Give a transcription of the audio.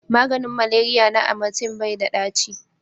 maganin maleriya na amatem bai da ɗaci